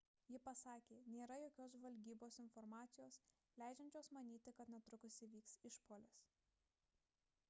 ji pasakė nėra jokios žvalgybos informacijos leidžiančios manyti kad netrukus įvyks išpuolis